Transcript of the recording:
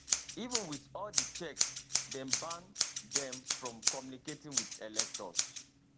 even wit all di checks dem ban dem from communicating wit electors